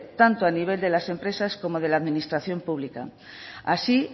tanto a nivel de las empresas como de la administración pública así